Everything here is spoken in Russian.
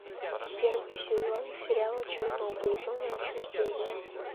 первый сезон сериала чернобыль зона отчуждения